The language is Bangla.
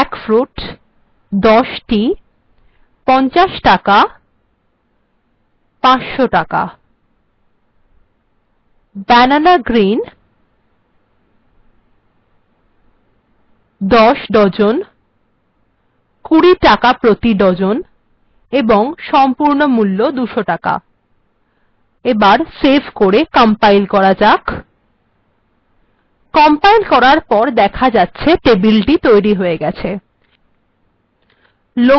jackfruit ১০ টি ৫০ টাকা ৫০০ টাকা banana green ১০ ডজন ২০ টাকা প্রতি ডজন এবং সম্পূর্ণ মূল্য ২০০ টাকা এবার সেভ করে কম্পাইল্ করার পর দেখা যাচ্ছে টেবিলটি তৈরী হয়ে গেছে